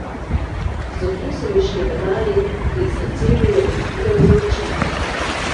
Zobje so mi šklepetali in srce mi je razbijalo za očmi.